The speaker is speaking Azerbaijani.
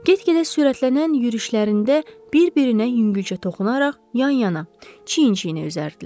Get-gedə sürətlənən yürüşlərində bir-birinə yüngülcə toxunaraq yan-yana, çiyin-çiyinə üzərdilər.